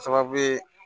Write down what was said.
Sababu ye